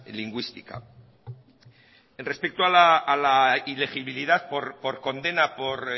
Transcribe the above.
lingüística respecto a la ilegibilidad por condena por